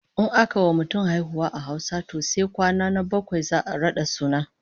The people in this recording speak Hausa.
In aka wa mutum haihuwa a Hausa to sai kwana na bakwai za'a rada suna